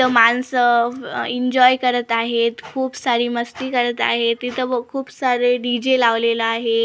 माणसं आह एन्जॉय करत आहेत खूप सारी मस्ती करत आहे तिथं व खूप सारे डीजे लावलेला आहे.